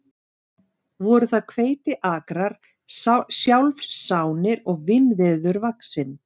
Voru þar hveitiakrar sjálfsánir og vínviður vaxinn.